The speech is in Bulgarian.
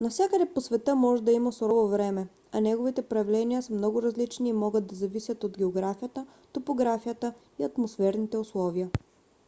нявсякъде по света може да има сурово време а неговите проявления са много различни и могат да зависят от географията топографията и атмосферните условия